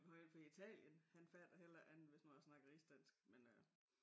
Har en fra Italien han fatter helle rikke andet end hvis man snakker rigsdansk men øh